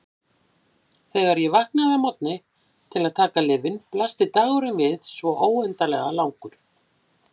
Þegar ég vaknaði að morgni til að taka lyfin blasti dagurinn við svo óendanlega langur.